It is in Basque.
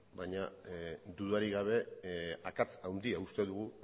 baina dudarik gabe akats handia uste dugu